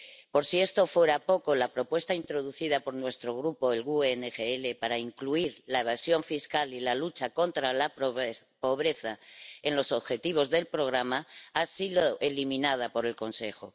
Por si esto fuera poco, la propuesta introducida por nuestro Grupo, el GUE NGL, para incluir la evasión fiscal y la lucha contra la pobreza en los objetivos del programa ha sido eliminada por el Consejo.